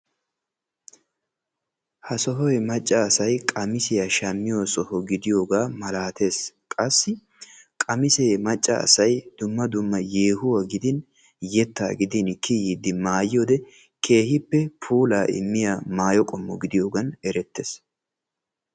Ha sohoy macca asay qamisiya shammiyo soho gidiyogaa malaatees. Qassi qamisee macca asay dumma dumma yeehuwa gidin yettaa gidin kiyiiddi maayiyode keehippe puulaa immiya maayo qommo gidiyogan erettees.